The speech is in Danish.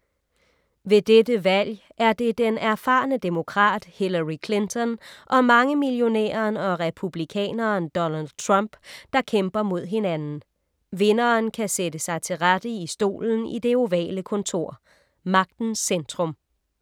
Ved dette valg er det den erfarne demokrat Hillary Clinton og mangemillionæren og republikaneren Donald Trump, der kæmper mod hinanden. Vinderen kan sætte sig til rette i stolen i det ovale kontor. Magtens centrum.